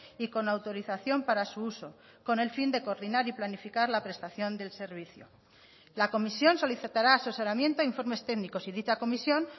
y con autorización para su uso con el fin de coordinar y planificar la prestación del servicio la comisión solicitará asesoramiento informes técnicos y dicha comisión